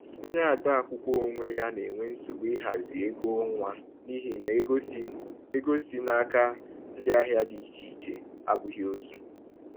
Onye ode akwụkwọ onwe ya na-enwe nsogbu ịhazi ego ọnwa n’ihi na ego si ego si n’aka ndị ahịa dị iche iche abụghị otu.